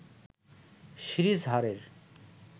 series হারের